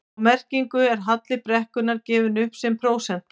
Á merkinu er halli brekkunnar gefinn upp sem prósenta.